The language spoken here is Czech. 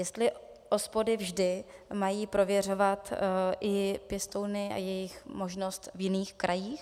Jestli OSPODy vždy mají prověřovat i pěstouny a jejich možnost v jiných krajích.